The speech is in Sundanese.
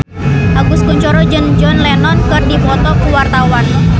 Agus Kuncoro jeung John Lennon keur dipoto ku wartawan